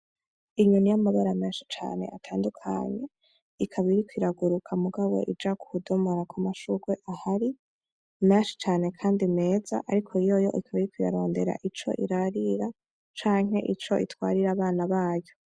Inyoni y'amabara menshi cane atadukanye ikaba iriko iraguruka mugabo uja kudomora kumashurwe ahari menshi cane kandi meza, ariko yoyo ukaba iriko irarondera ico irarira canke ico itwarira abana bayo.